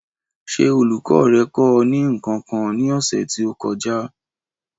Ṣé olùkọ́ rẹ kọ́ ọ ní nǹkan kan ní ọ̀sẹ̀ tí ó kọjá?